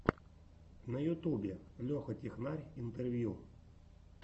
на ютубе леха технарь интервью